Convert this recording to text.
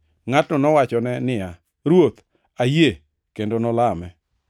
Ngʼatno nowachone niya, “Ruoth, ayie,” kendo nolame.